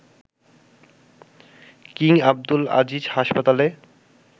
king Abdul Aziz হাসপাতালে